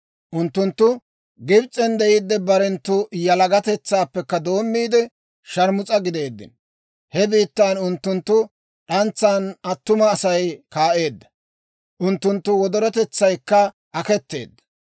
Unttunttu Gibs'en de'iiddi, barenttu yalagatetsaappekka doommiide, sharmus'a gideeddino. He biittan unttunttu d'antsan attuma Asay kaa'eedda; unttunttu wodorotetsaykka aketeedda.